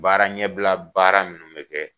Baara ɲɛbila baara minnu bɛ kɛ